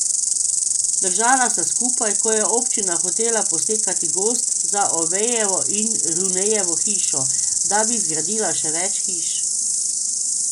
Držala sta skupaj, ko je občina hotela posekati gozd za Ovejevo in Runejevo hišo, da bi zgradila še več hiš.